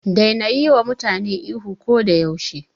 Daina yiwa mutane ihu ko da yaushe.